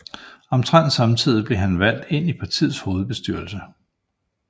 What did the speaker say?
Omtrent samtidig blev han valgt ind i partiets hovedbestyrelse